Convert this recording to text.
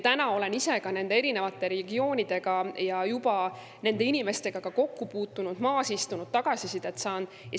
Olen ise ka nende erinevate regioonidega ja nende inimestega juba kokku puutunud, istunud, tagasisidet saanud.